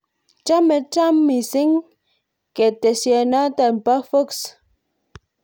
Chame Trump missing ketesyento bo Fox